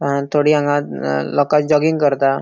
अ थोड़ी हांगा लोका जॉगिंग करता.